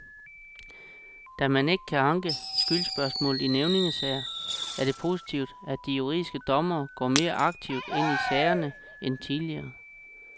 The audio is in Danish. Da man ikke kan anke skyldsspørgsmål i nævningesager er det positivt, at de juridiske dommere går mere aktivt ind i sagerne end tidligere.